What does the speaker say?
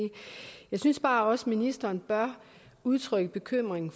jeg synes bare også at ministeren bør udtrykke bekymring